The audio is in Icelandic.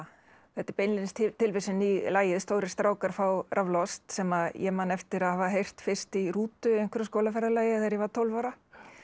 þetta er beinlínis tilvísun í lagið stórir strákar fá raflost sem ég man eftir að hafa heyrt fyrst í rútu í einhverju skólaferðalagi þegar ég var tólf ára